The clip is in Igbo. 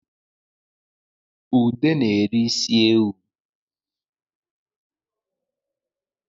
Ude na-eri isi ewu